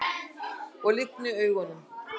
Ég lygni augunum.